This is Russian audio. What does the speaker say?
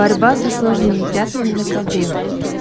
борьба со сложными пятнами на ковре